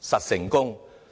實成功"。